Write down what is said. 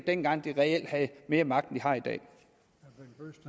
dengang de reelt havde mere magt